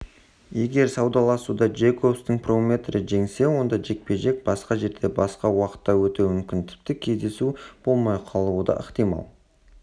егер саудаласуда джейкобстың промоутері жеңсе онда жекпе-жек басқа жерде басқа уақытта өтуі мүмкін тіпті кездесу болмай қалуы да ықтимал